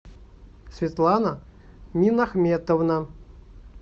светлана минахметовна